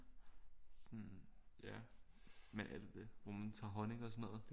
Ja men er det det hvor man tager honning og sådan noget